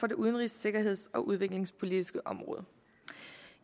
det udenrigs sikkerheds og udviklingspolitiske område